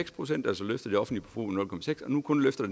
procent og nu kun løfter